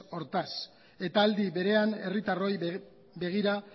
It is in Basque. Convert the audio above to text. hortaz eta aldi berean herritarroi begira